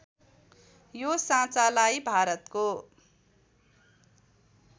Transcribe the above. यो साँचालाई भारतको